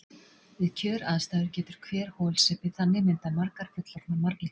Við kjöraðstæður getur hver holsepi þannig myndað margar fullorðnar marglyttur.